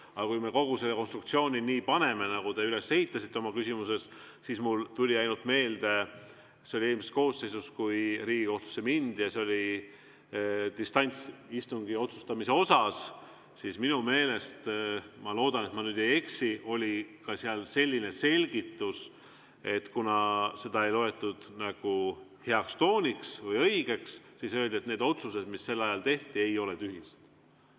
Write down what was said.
Aga kui me ka kogu selle konstruktsiooni nii teeme, nagu te üles ehitasite oma küsimuses, siis võin öelda, et mulle tuli meelde, et kui eelmises koosseisus Riigikohtusse mindi distantsistungite pärast, siis minu meelest – ma loodan, et ma ei eksi – oli ka selline selgitus, et kuigi seda ei loetud heaks tooniks või õigeks, siis öeldi, et need otsused, mis sel ajal tehti, ei ole tühised.